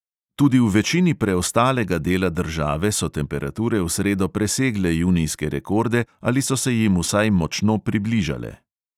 Tudi v večini preostalega dela države so temperature v sredo presegle junijske rekorde ali so se jim vsaj močno približale.